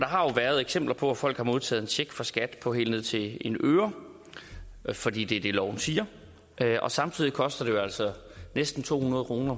har jo været eksempler på at folk har modtaget en check fra skat på helt ned til en øre fordi det er det loven siger og samtidig koster det jo altså næsten to hundrede kroner